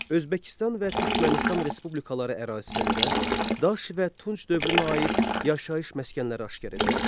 Özbəkistan və Türkmənistan Respublikaları ərazisində Daş və Tunc dövrünə aid yaşayış məskənləri aşkar edilmişdir.